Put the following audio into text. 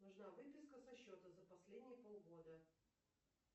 нужна выписка со счета за последние полгода